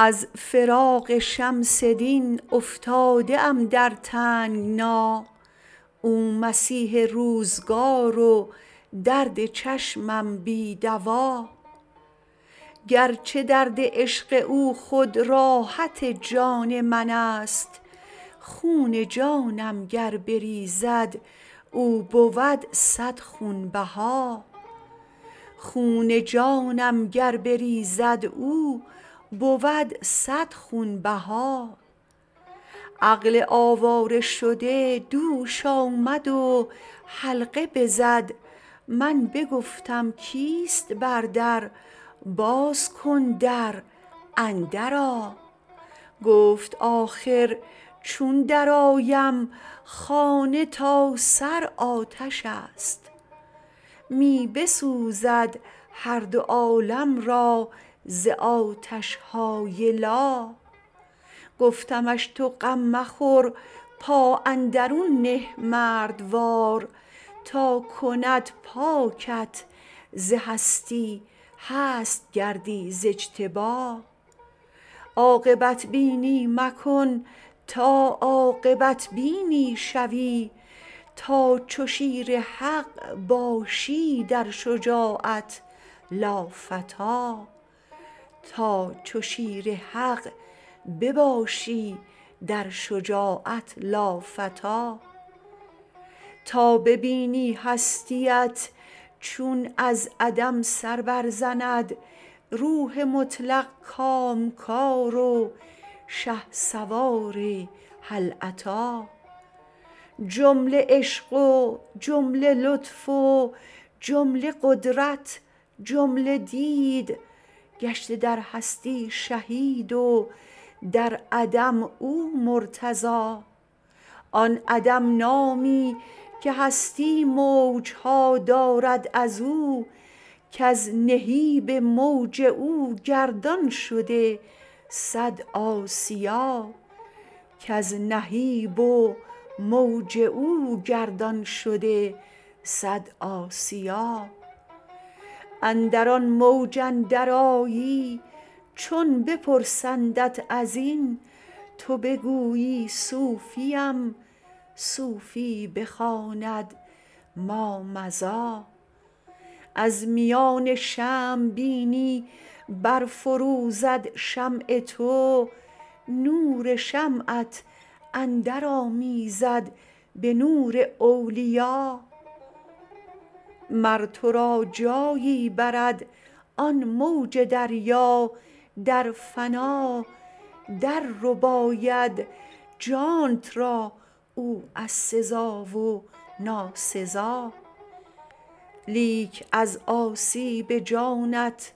از فراق شمس دین افتاده ام در تنگنا او مسیح روزگار و درد چشمم بی دوا گرچه درد عشق او خود راحت جان منست خون جانم گر بریزد او بود صد خونبها عقل آواره شده دوش آمد و حلقه بزد من بگفتم کیست بر در باز کن در اندرآ گفت آخر چون درآید خانه تا سر آتش است می بسوزد هر دو عالم را ز آتش های لا گفتمش تو غم مخور پا اندرون نه مردوار تا کند پاکت ز هستی هست گردی ز اجتبا عاقبت بینی مکن تا عاقبت بینی شوی تا چو شیر حق باشی در شجاعت لافتی تا ببینی هستی ات چون از عدم سر برزند روح مطلق کامکار و شهسوار هل اتی جمله عشق و جمله لطف و جمله قدرت جمله دید گشته در هستی شهید و در عدم او مرتضی آن عدم نامی که هستی موج ها دارد از او کز نهیب و موج او گردان شد صد آسیا اندر آن موج اندرآیی چون بپرسندت از این تو بگویی صوفیم صوفی بخواند مامضی از میان شمع بینی برفروزد شمع تو نور شمعت اندرآمیزد به نور اولیا مر تو را جایی برد آن موج دریا در فنا دررباید جانت را او از سزا و ناسزا لیک از آسیب جانت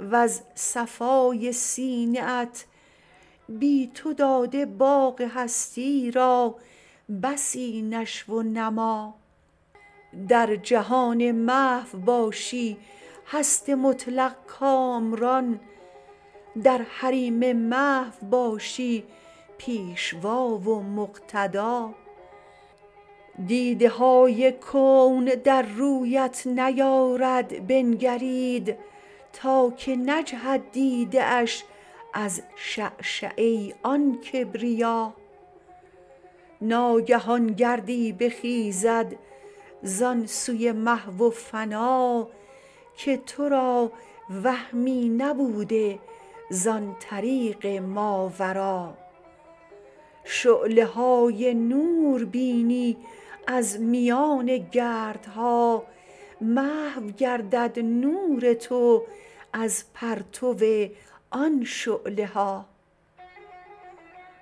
وز صفای سینه ات بی تو داده باغ هستی را بسی نشو و نما در جهان محو باشی هست مطلق کامران در حریم محو باشی پیشوا و مقتدا دیده های کون در رویت نیارد بنگرید تا که نجهد دیده اش از شعشعه آن کبریا ناگهان گردی بخیزد زان سوی محو فنا که تو را وهمی نبوده زان طریق ماورا شعله های نور بینی از میان گردها محو گردد نور تو از پرتو آن شعله ها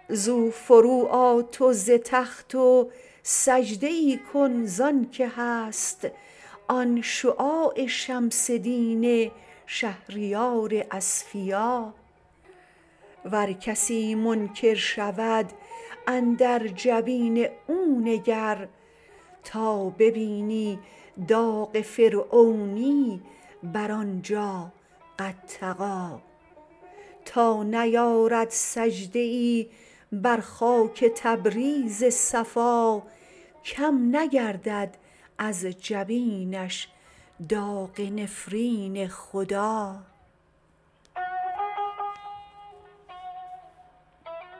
زو فروآ تو ز تخت و سجده ای کن زانک هست آن شعاع شمس دین شهریار اصفیا ور کسی منکر شود اندر جبین او نگر تا ببینی داغ فرعونی بر آن جا قد طغی تا نیارد سجده ای بر خاک تبریز صفا کم نگردد از جبینش داغ نفرین خدا